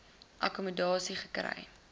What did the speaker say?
akkommo dasie gekry